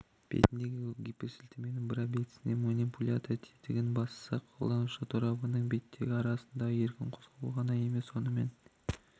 бетіндегі гиперсілтеменің бір объектісіне манипулятор тетігін бассақ қолданушы торабының беттері арасында еркін қозғалу ғана емес сонымен